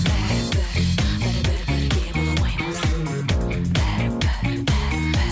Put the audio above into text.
бәрібір бәрібір бірге бола алмаймыз бәрібір бәрібір